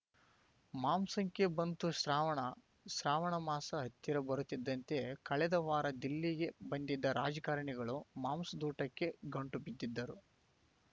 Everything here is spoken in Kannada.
ಮಾಂಸಕ್ಕೆ ಬಂತು ಶ್ರಾವಣ ಶ್ರಾವಣ ಮಾಸ ಹತ್ತಿರ ಬರುತ್ತಿದ್ದಂತೆ ಕಳೆದ ವಾರ ದಿಲ್ಲಿಗೆ ಬಂದಿದ್ದ ರಾಜಕಾರಣಿಗಳು ಮಾಂಸದೂಟಕ್ಕೆ ಗಂಟುಬಿದ್ದಿದ್ದರು